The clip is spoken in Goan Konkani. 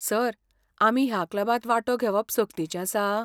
सर, आमी ह्या क्लबांत वांटो घेवप सक्तीचें आसा?